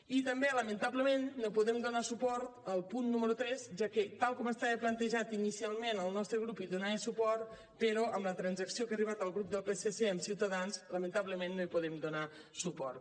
i també lamentablement no podem donar suport al punt número tres ja que tal com estava plantejat inicialment el nostre grup hi donava suport però amb la transacció a què ha arribat el psc amb ciutadans lamentablement no hi podem donar suport